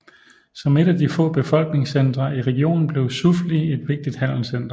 Som et af de få befolkningscentre i regionen blev Soufli et vigtigt handelscenter